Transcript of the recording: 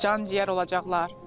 Can-ciyər olacaqlar.